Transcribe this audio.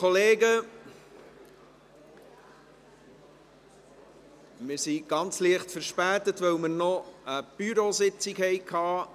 Wir sind ganz leicht verspätet, weil wir eine Sitzung des Büros des Grossen Rates hatten.